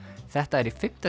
þetta er í fimmta